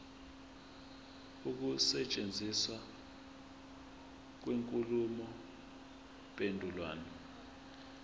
ukusetshenziswa kwenkulumo mpendulwano